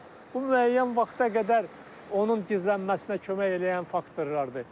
Amma bu müəyyən vaxta qədər onun gizlənməsinə kömək eləyən faktorlardır.